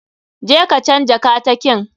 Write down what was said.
Je ka canja katakin.